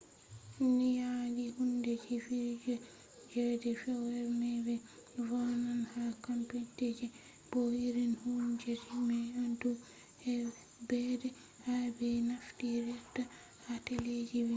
nyaɗɗi hunde ji fijir je de fewre mai be vo’enan ha computeje bo irin hundeji mai ndu ɓedde ha be naftirta ha teleji be filmji